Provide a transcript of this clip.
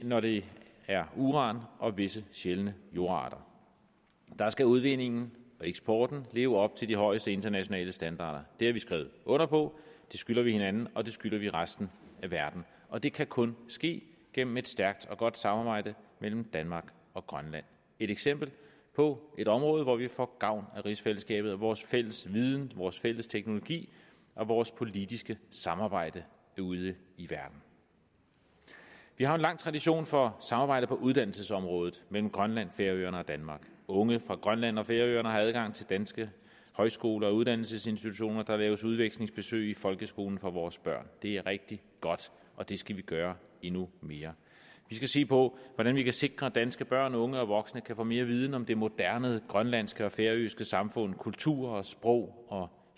når det er uran og visse sjældne jordarter der skal udvindingen og eksporten leve op til de højeste internationale standarder det har vi skrevet under på det skylder vi hinanden og det skylder vi resten af verden og det kan kun ske gennem et stærkt og godt samarbejde mellem danmark og grønland et eksempel på et område hvor vi får gavn af rigsfællesskabet og vores fælles viden vores fælles teknologi og vores politiske samarbejde ude i verden vi har en lang tradition for samarbejde på uddannelsesområdet mellem grønland færøerne og danmark unge fra grønland og færøerne har adgang til danske højskoler og uddannelsesinstitutioner og der laves udvekslingsbesøg i folkeskolen for vores børn det er rigtig godt og det skal vi gøre endnu mere vi skal se på hvordan vi kan sikre at danske børn unge og voksne kan få mere viden om det moderne grønlandske og færøske samfund kultur og sprog og